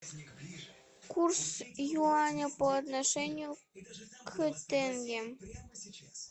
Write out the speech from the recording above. курс юаня по отношению к тенге